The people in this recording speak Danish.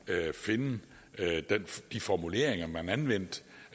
finde de formuleringer man anvendte